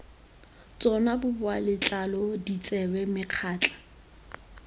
tsona boboa letlalo ditsebe megatla